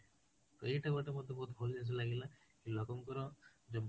ତ ଏଇଟା ଗୋଟେ ମତେ ବହୁତ ଭଲ ଜିନିଷ ଲାଗିଲା କି ଲୋକଙ୍କର ଯୋଉ